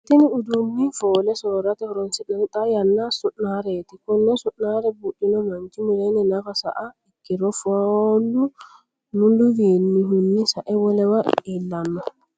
Tinni uduunni foole soorate horoonsi'nanni xaa yanna su'nareeti. Konne su'nare buudhino manchi mulenni nafa saiha ikiro fooflu muliwiinnihunni sae wolewa iilanno.